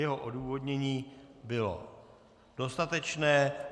Jeho odůvodnění bylo dostatečné.